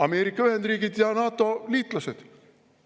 Ameerika Ühendriigid ja NATO liitlased.